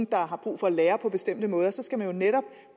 der har brug for at lære på bestemte måder skal man jo netop